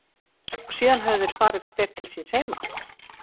Og síðan höfðu þeir farið hver til síns heima.